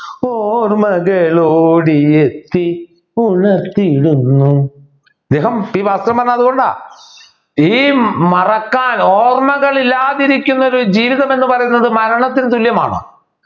ഓർമ്മകൾ ഓടിയെത്തി ഉണർത്തിടുന്നു അദ്ദേഹം പി ഭാസ്കരൻ പറഞ്ഞത് അതുകൊണ്ട ഈ മറക്കാൻ ഓർമ്മകൾ ഇല്ലാതിരിക്കുന്ന ഒരു ജീവിതം എന്ന് പറയുന്നത് മരണത്തിനു തുല്യമാണ്